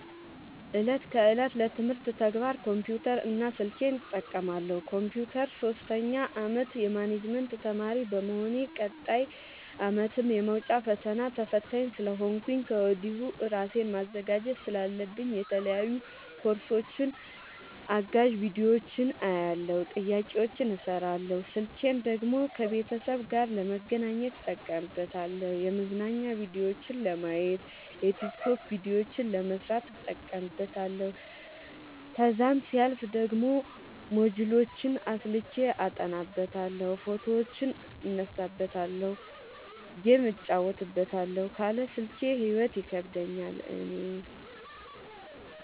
እለት ከእለት ለትምህርት ተግባር ኮምፒውተር እና ስልኬን እጠቀማለሁ። ኮንፒውተሩን ሶስተኛ አመት የማኔጅመት ተማሪ በመሆኔ ቀጣይ አመትም የመውጫ ፈተና ተፈታኝ ስለሆንኩኝ ከወዲሁ እራሴን ማዘጋጀት ስላለብኝ የተለያዩ ኮርሶችን አጋዝ ቢዲዮዎችን አያለሁ። ጥያቄዎችን እሰራለሁ። ስልኬን ደግሞ ከቤተሰብ ጋር ለመገናኘት እጠቀምበታለሁ የመዝናኛ ቭዲዮዎችን ለማየት። የቲክቶክ ቪዲዮዎችን ለመስራት እጠቀምበታለሁ። ከዛሲያልፍ ደግሞ ሞጅልዎችን አስልኬ አጠናበታለሁ። ፎቶዎችን እነሳበታለሀለ። ጌም እጫወትበታለሁ ካለ ስልኬ ሂይወት ይከብደኛል እኔ።